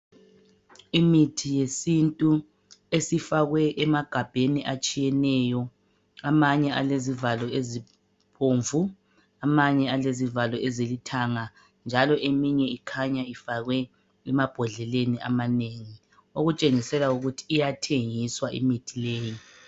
Imithi yesintu esifakwe emagabheni atshiyeneyo, amanye alezivalo ezibomvu, amanye alezivalo ezilithanga njalo eminye ikhanya ifakwe emabhodleleni amanengi okutshengisela ukuthi iyathengiswa imithi leyi.